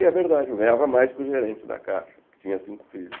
E é verdade, eu ganhava mais que o gerente da Caixa, que tinha cinco filhos.